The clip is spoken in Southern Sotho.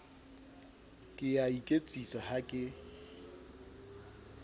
ke a iketsisa ha ke